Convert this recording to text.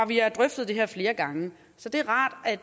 vi har drøftet det her flere gange så